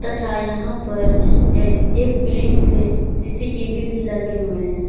तथा यहां पर अह एक प्रिंट पे सी_सी_टी_वी भी लगे हुए हैं।